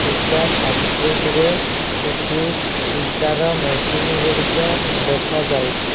ଇଟା ଫ୍ୟାଟ୍ରି ଟି ରେ କିଛି ଇଟା ର ମେସିନ୍ ଗୁଡ଼ିକ ଦେଖାଯାଉଚି ।